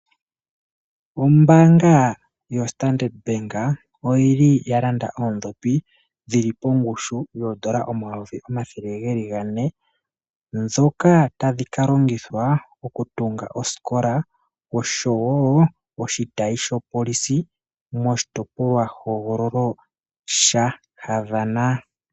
Ombaanga yo Standard bank oyili ya landa oondhopi dhili pongushu yoondola omayovi omathele geli gane ndhoka tadhi ka longithwa okutunga osikola oshiwo oshitayi shopolisi moshitopolwa hogololo sha Havana.